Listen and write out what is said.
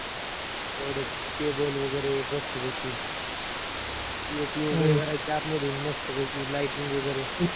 तेवड्यात table वगैरे एक मस्त पैकी, POP वैगरे करायच आतमधून मस्त पैकी, lightning वगैरे